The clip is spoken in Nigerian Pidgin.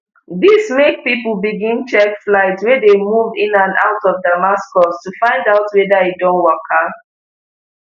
dis make pipo begin check flights wey dey move in and out of damascus to find out weda e don waka